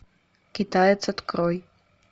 китаец открой